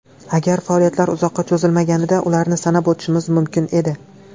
Agar faoliyatlari uzoqqa cho‘zilmaganida, ularni sanab o‘tishimiz mumkin edi.